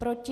Proti?